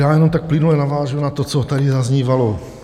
Já jenom tak plynule navážu na to, co tady zaznívalo.